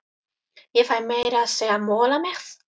Ég fæ meira að segja mola með.